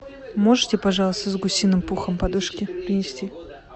можете пожалуйста с гусиным пухом подушки принести